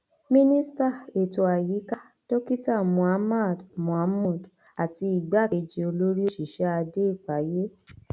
mínístà ètò àyíká dókítà mohammad mahmood àti igbákejì olórí òṣìṣẹ adé ìpáyé